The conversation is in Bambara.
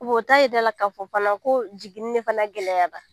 o t'a jira e la k'a fɔ fana ko jiginni de fana gɛlɛyara